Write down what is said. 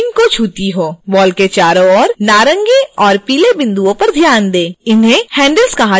ball के चारों ओर नारंगी और पीले बिन्दुओं पर ध्यान दें इन्हें handles कहा जाता है